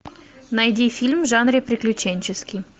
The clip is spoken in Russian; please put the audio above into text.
найди фильм в жанре приключенческий